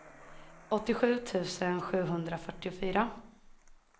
åttiosju tusen sjuhundrafyrtiofyra